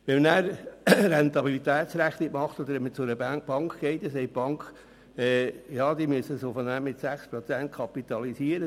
Wenn man eine Rentabilitätsrechnung macht oder zu einer Bank geht, dann sagt die Bank, man müsse das Geld mit 6 Prozent kapitalisieren.